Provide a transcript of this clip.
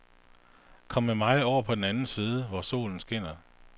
Kom med mig over på den anden side, hvor solen skinner.